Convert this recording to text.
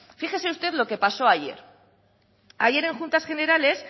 fíjese lo que pasó ayer ayer en juntas generales